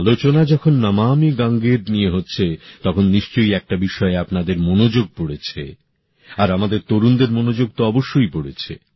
আলোচনা যখন নমামি গঙ্গের নিয়ে হচ্ছে তখন নিশ্চয়ই একটা বিষয়ে আপনাদের নজর পড়েছে আর আমাদের তরুণতরুনীদের নজর তো অবশ্যই পড়েছে